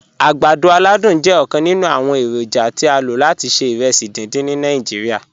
Agbàdọ̀ aládùn jẹ̀ ọkan nínu awọn èrójà tí a ló láti ṣẹ̀ ìrèsí díndín ni Nàìjíríà.